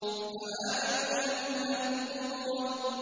فَمَالِئُونَ مِنْهَا الْبُطُونَ